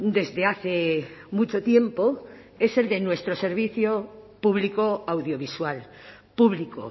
desde hace mucho tiempo es el de nuestro servicio público audiovisual público